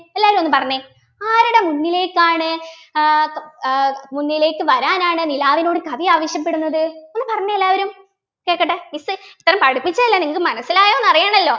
എല്ലാരും ഒന്ന് പറഞ്ഞെ ആരുടെ മുന്നിലേക്കാണ് ആഹ് ആഹ് മുന്നിലേക്ക് വരാനാണ് നിലാവിനോട് കവി ആവശ്യപ്പെടുന്നത് ഒന്ന് പറഞ്ഞെ എല്ലാവരും കേക്കട്ടെ miss ഇത്രേം പഠിപ്പിച്ചതല്ലേ നിങ്ങക്ക് മനസ്സിലായോ അറിയണല്ലോ